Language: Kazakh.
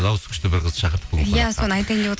дауысы күшті бір қызды шақырдық